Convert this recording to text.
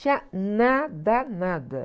Não tinha nada, nada.